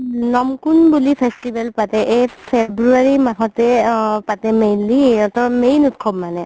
নমকোম বুলি festival পাতে এই february মাহতে অ পাতে mainly সিহতৰ main উত্‍সৱ মানে